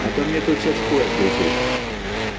а то мне тут сейчас хуй отгрызут